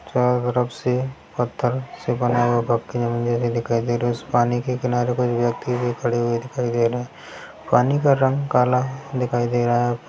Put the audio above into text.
पत्थर से बडा उस पानी के किनारे कोई व्यक्ति भी खड़े हुए दिखाई दे रहे है पानी का रंग कला दिखाई दे रहा है।